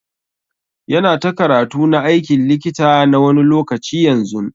Yana ta karatu na aikin likita na wani lokaci yanzun.